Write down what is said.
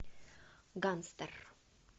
гангстер